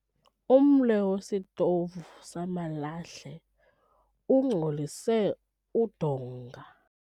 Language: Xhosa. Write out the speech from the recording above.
Umle wesitovu samalahle ungcolise udonga.